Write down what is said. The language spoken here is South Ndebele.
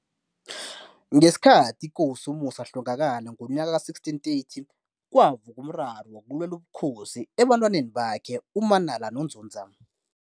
Ngesikhathi ikosi uMusi athlogakala ngonyaka ka-1630, kwavuka umraro wokulwela ubukosi ebatwaneni bakhe uManala noNzunza.